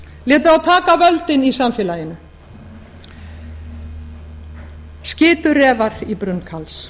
létu þá taka völdin í samfélaginu skitu refar í brunn karls